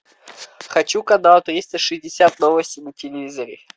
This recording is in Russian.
хочу канал триста шестьдесят новости на телевизоре